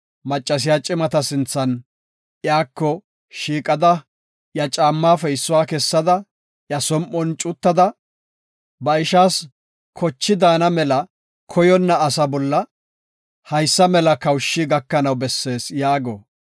maccasiya cimata sinthan iyako shiiqada, iya caammaafe issuwa kessada, iya som7on cuttada, “Ba ishaas zerthi daana mela koyonna asa bolla haysa mela kawushi gakanaw bessees” yaago.